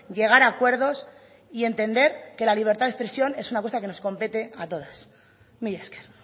llegar a acuerdos y entender que la libertad de expresión es una cosa que nos compete a todas mila esker